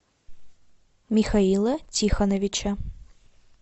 михаила тихоновича